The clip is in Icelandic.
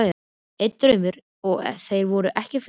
Einn draumur, og þeir voru ekki fleiri.